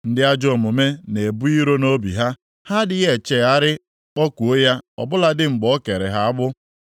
“Ndị ajọ omume na-ebu iro nʼobi ha. Ha adịghị echegharị kpọkuo ya ọ bụladị mgbe o kere ha agbụ. + 36:13 Ọ tara ha ahụhụ